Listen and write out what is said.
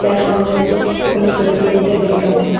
এটা সম্ভবত কোন প্রতিযোগিতার বিজ্ঞাপন।